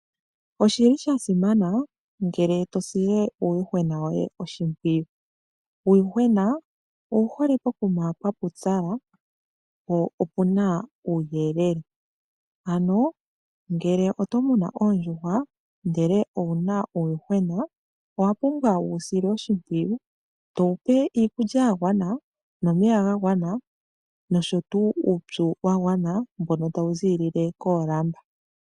Oshili shasimana ngele to sile uuyuhwena woye oshimpwiyu. Uuyuhwena owu hole pokuma pwa pupyala po opena uuyelele, ngele oto munu oondjuhwa ihe owuna uuyuhwena owa pumbwa okuwu sila oshimpwiyu towupe iikulya yagwana, omeya oshowo uupyu mbono tawu ziilile koolamba.